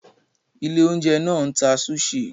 Ilé-oúnjẹ náà ń ta sushi.